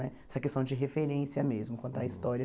Essa questão de referência mesmo, contar a História.